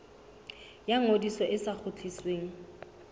ya ngodiso e sa kgutlisweng